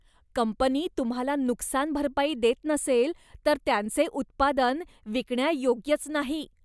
Company तुम्हाला नुकसान भरपाई देत नसेल तर त्यांचे उत्पादन विकण्यायोग्यच नाही.